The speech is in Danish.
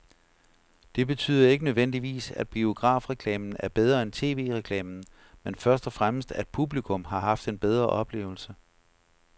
Det betyder ikke nødvendigvis, at biografreklamen er bedre end tv-reklamen, men først og fremmest at publikum har haft en bedre oplevelse.